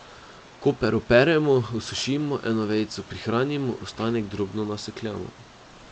Koper operemo, osušimo, eno vejico prihranimo, ostanek drobno nasekljamo.